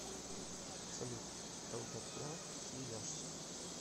салют долгота свияжск